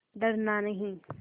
डरना नहीं